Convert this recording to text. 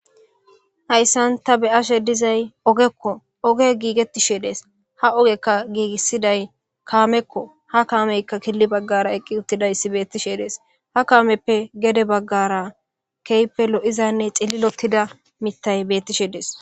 hayssanta be'ashe dizay ogekko oge giigettishe dees ha ogekka giigissiday kaamekko ha kaameyka killi baggara eqqi uttidayssi beettishe dees ha kaameppe gede baggara keype lo7izanne xillilotida mitay bettishe dees